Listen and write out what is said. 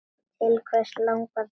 Til hvers langar þig?